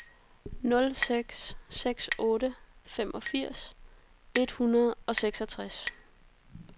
nul seks seks otte femogfirs et hundrede og seksogtres